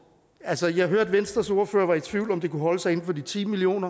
altså jeg hørte at venstres ordfører var i tvivl om om det kunne holde sig inden for de ti million